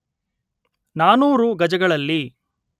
ನಾನೂರು ಗಜಗಳಲ್ಲಿ